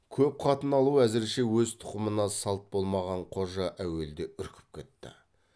көп қатын алу әзірше өз тұқымына салт болмаған қожа әуелде үркіп кетті